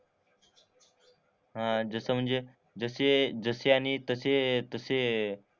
हां जस म्हणजे जसे जसे आणि तसे तसे,